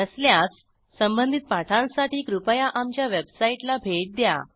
नसल्यास संबंधित पाठांसाठी कृपया आमच्या वेबसाईटला भेट द्या